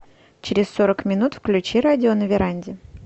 через сорок минут включи радио на веранде